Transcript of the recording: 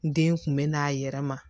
Den kun bɛ n'a yɛrɛ ma